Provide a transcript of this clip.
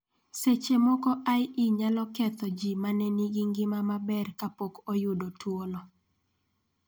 Seche moko IE nyalo ketho ji ma ne nigi ngima maber kapok oyudo tuono.